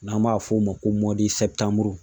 N'an b'a f'o ma ko